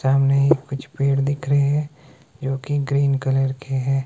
सामने ही कुछ पेड़ दिख रहे हैं जोकि ग्रीन कलर के हैं।